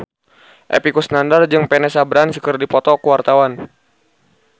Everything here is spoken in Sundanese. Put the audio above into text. Epy Kusnandar jeung Vanessa Branch keur dipoto ku wartawan